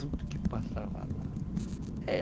Tudo que passava lá.